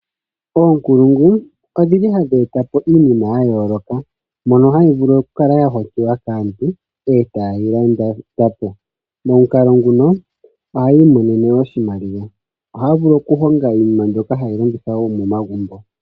Oonkulungu odhili hadhi e ta po iinima ya yooloka mono hayi vulu oku kala ya hokiwa kaantu e ta yeyi landa po, momukalo nguno ohaya i monene oshimaliwa, ohaya vulu okuhonga woo iinima mbyoka hayi longithwa momagumbo.